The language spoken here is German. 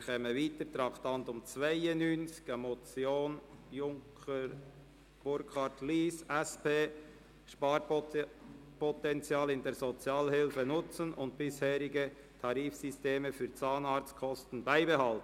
Wir gehen weiter zum Traktandum 92, einer Motion von Junker Burkhard, Lyss, SP: «Sparpotenzial in der Sozialhilfe nutzen und bisheriges Tarifsystem für Zahnarztkosten beibehalten».